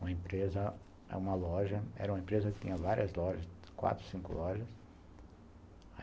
Uma empresa, uma loja, era uma empresa que tinha várias lojas, quatro, cinco lojas.